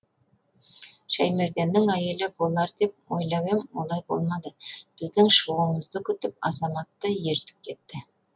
шәймерденнің әйелі болар деп ойлап ем олай болмады біздің шығуымызды күтіп азаматты ертіп кетті